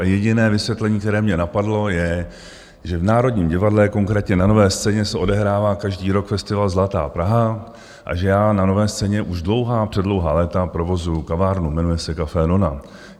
A jediné vysvětlení, které mě napadlo, je, že v Národním divadle, konkrétně na Nové scéně, se odehrává každý rok festival Zlatá Praha a že já na Nové scéně už dlouhá, předlouhá léta provozuji kavárnu, jmenuje se Café Nona.